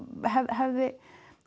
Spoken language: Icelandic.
hefðu